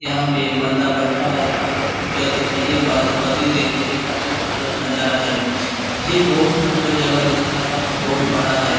यहाँ पे एक बंदा बैठा है काफी खूबसूरत दिख रहा है। ये बादल बदली देखिये काफी खूबसूरत नज़ारा है। ये बोहोत खूबसूरत जगह दिख रहा है काफी बोहोत बड़ा है।